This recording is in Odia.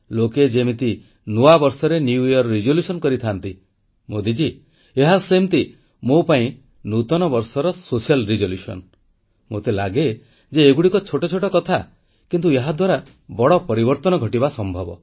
ଲୋକେ ଯେମିତି ନୂଆ ବର୍ଷରେ ନୂଆ ସଂକଳ୍ପ ନେଇଥାନ୍ତି ମୋଦୀଜୀ ଏହା ସେମିତି ମୋ ପାଇଁ ନୂତନ ବର୍ଷର ସାମାଜିକ ସଂକଳ୍ପ ମୋତେ ଲାଗେ ଯେ ଏଗୁଡ଼ିକ ଛୋଟ ଛୋଟ କଥା କିନ୍ତୁ ଏହାଦ୍ୱାରା ବଡ଼ ପରିବର୍ତ୍ତନ ଘଟିବା ସମ୍ଭବ